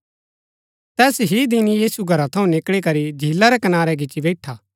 तैस ही दिन यीशु घरा थऊँ निकळी करी झीला रै कनारै गिच्ची बैईठा